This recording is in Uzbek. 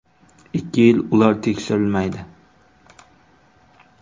Ikki yil ular tekshirilmaydi.